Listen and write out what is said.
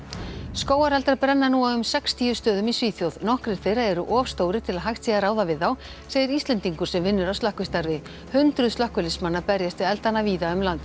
skógareldar brenna nú á um sextíu stöðum í Svíþjóð nokkrir þeirra eru of stórir til að hægt sé að ráða við þá segir Íslendingur sem vinnur að slökkvistarfi hundruð slökkviliðsmanna berjast við eldana víða um land